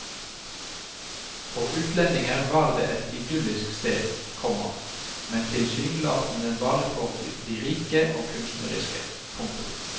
For utlendinger var det et idyllisk sted, komma men tilsynelatende bare for de rike og kunstneriske. punktum